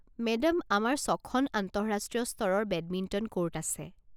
Madam, আমাৰ ছখন আন্তঃৰাষ্ট্ৰীয় স্তৰৰ বেডমিণ্টন ক'ৰ্ট আছে।